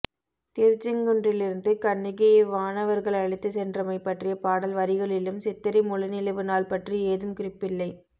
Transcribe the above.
திருச்செங்குன்றிலிருந்து கண்ணகியை வானவர்கள் அழைத்துச் சென்றமை பற்றிய பாடல் வரிகளிலும் சித்திரை முழுநிலவு நாள் பற்றி ஏதும் குறிப்பில்லை